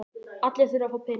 Allir þurfa að fá peninga.